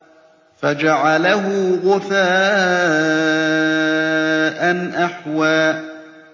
فَجَعَلَهُ غُثَاءً أَحْوَىٰ